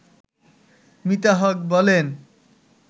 মিতা হক বলেন